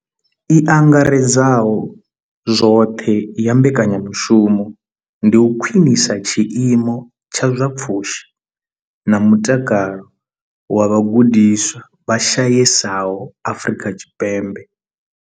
I angaredzaho zwoṱhe ya mbekanyamushumo ndi u khwinisa tshiimo tsha zwa pfushi na mutakalo zwa vhagudiswa vha shayesaho Afrika Tshipembe.